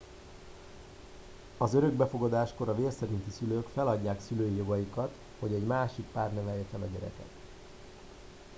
az örökbefogadáskor a vérszerinti szülők feladják szülői jogaikat hogy egy másik pár nevelje fel a gyermeket